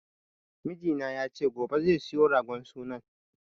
Mijina ya ce gobe zai siyo ragon sunan